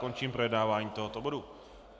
Končím projednávání tohoto bodu.